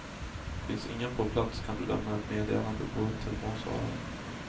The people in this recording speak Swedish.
Finns ingen på plats kan du lämna ett meddelande på telefonsvararen.